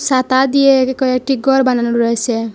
সাতা দিয়ে কয়েকটি গর বানানো রয়েসে।